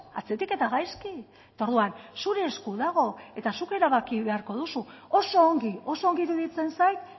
atzetik eta gaizki eta orduan zure esku dago eta zuk erabaki beharko duzu oso ongi oso ongi iruditzen zait